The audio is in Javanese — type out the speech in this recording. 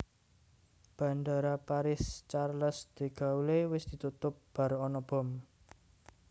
Bandara Paris Charles de Gaulle wis ditutup bar ono bom